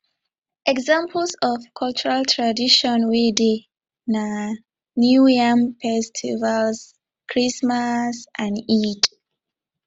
examples of cultural tradition wey dey na new yam festival christmas and eid